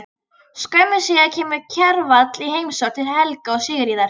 Skömmu síðar kemur Kjarval í heimsókn til Helga og Sigríðar.